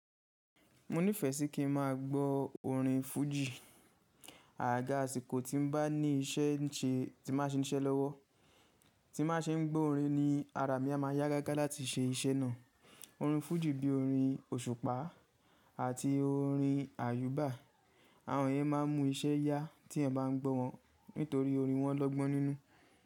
Mo nífẹẹ sí kí n má gbó orin Fuji. Àgaga àsìkò tí mo bá ní iṣẹ́ ń ṣe tí má ṣe níṣe lọ́wọ́, tí má ṣe ń gbọ́ orin ni ara mi a má yá gágá láti ṣe iṣẹ́ náà. Orin Fuji bí i orin òṣùpá àti orin àyúbà, àwọn ìyen máa ń mu iṣẹ́ yá tí yan bá ń gbọ́ wọn nítorí orin wọn lọ́gbọ́n nínú.